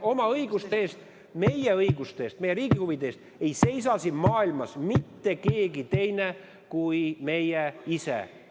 Oma õiguste eest, meie õiguste eest, meie riigi huvide eest ei seisa siin maailmas mitte keegi teine kui meie ise.